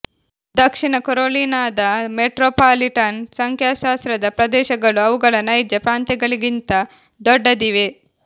ದಕ್ಷಿಣ ಕೆರೊಲಿನಾದ ಮೆಟ್ರೊಪಾಲಿಟನ್ ಸಂಖ್ಯಾಶಾಸ್ತ್ರದ ಪ್ರದೇಶಗಳು ಅವುಗಳ ನೈಜ ಪ್ರಾಂತ್ಯಗಳಿಗಿಂತ ದೊಡ್ಡದಿವೆ